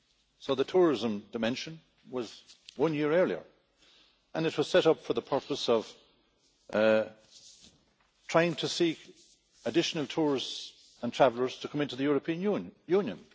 So the tourism dimension came one year earlier, and it was set up for the purpose of trying to encourage additional tourists and travellers to come into the European Union.